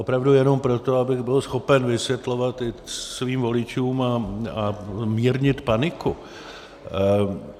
Opravdu jenom proto, abych byl schopen vysvětlovat svým voličům a mírnit paniku.